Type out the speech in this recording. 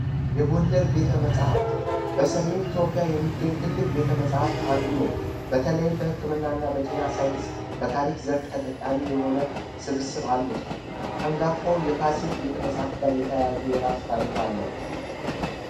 የጎንደር ቤተ መጽሐፍት በሰሜን ኢትዮጵያ የሚገኝ ትልቅ ቤተመፃፍት አንዱ ነው በተለይም በህክምና እና በጤና ሳይንስ በታሪክ ዘርፍ ተጠቃሚ የሆነ ስብስብ አሉት አንጋፋው የፋሲል ቤተመፃፍት ጋር የተያያዙ የራስ ታሪክ አለው